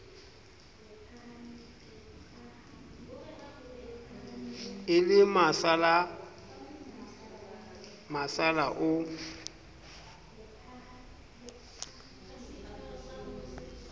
e le nasala nasala o